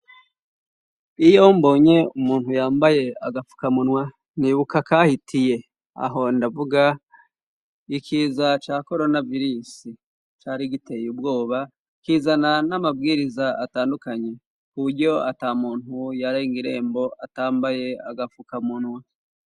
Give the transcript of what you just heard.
Iyo mbonye umuntu yambaye agapfuka munwa nibuka kahitiye aho ndavuga ikiza cya corona vilis cari giteye ubwoba kizana n'amabwiriza atandukanye kuburyo atamuntu yarenga irembo atambaye agapfuka munwa.